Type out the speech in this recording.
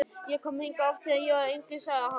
Ég kom hingað oft, þegar ég var yngri sagði hann.